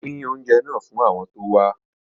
Pín oúnjẹ náà fún àwọn tó wá